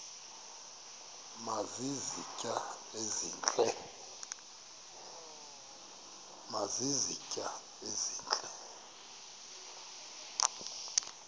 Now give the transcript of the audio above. nazi izitya ezihle